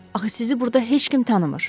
Axı sizi burda heç kim tanımır.